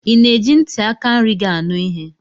Ị na-eji ntị aka nri gị anụ ihe?